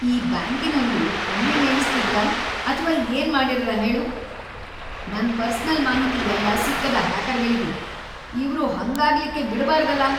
ಈ ಬ್ಯಾಂಕಿನವ್ರು ಎಮ್ಮಿ ಮೇಯ್ಸ್‌ತಿದ್ರ ಅಥ್ವಾ ಏನ್ ಮಾಡ್ಯಾರರೇ ಹೇಳು, ನನ್‌ ಪರ್ಸನಲ್‌ ಮಾಹಿತಿ ಯಲ್ಲಾ ಸಿಕ್ಕದ ಹ್ಯಾಕರ್ಗಳಿಗಿ, ಇವ್ರು ಹಂಗಾಗ್ಲಿಕ್ಕಿ ಬಿಡಬಾರ್ದಲಾ.